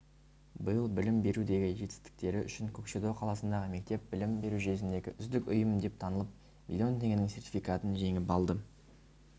биыл білім берудегі жетістіктері үшін көкшетау қаласындағы мектеп білім беру жүйесіндегі үздік ұйым деп танылып миллион теңгенің сертификатын жеңіп алды